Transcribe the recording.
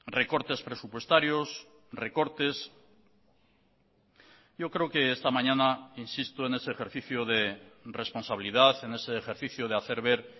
recortes presupuestarios recortes yo creo que esta mañana insisto en ese ejercicio de responsabilidad en ese ejercicio de hacer ver